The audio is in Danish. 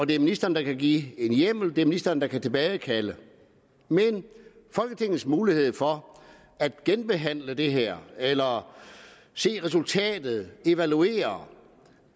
det er ministeren der kan give en hjemmel det er ministeren der kan tilbagekalde men folketingets mulighed for at genbehandle det her eller se resultatet evaluere